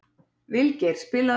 Vilgeir, spilaðu lag.